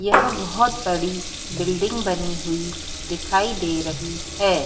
यह बहुत बड़ी बिल्डिंग बनी हुई दिखाई दे रही है।